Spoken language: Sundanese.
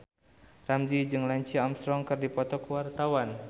Ramzy jeung Lance Armstrong keur dipoto ku wartawan